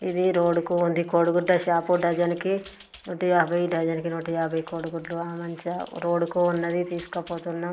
ఇది రోడ్డు కు ఉంది కోడిగుడ్ల షాపు . డజన్ కి నూట యాభై డజన్ కి నూట యాభై కోడిగుడ్లు ఆ మంచిగా రోడ్డు కు ఉన్నది తీస్కపోతున్న --